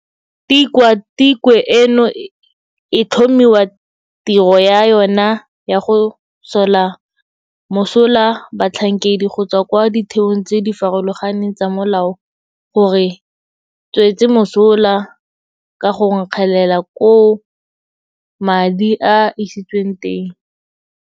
Tikwa tikwe eno e tlhomiwa, tiro ya yona ya go sola mosola batlhankedi go tswa kwa ditheong tse di farologaneng tsa molao go re tswetse mosola ka go nkgelela koo madi a isitsweng teng.